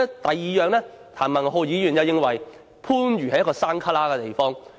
第二，譚文豪議員認為番禺是偏僻地方。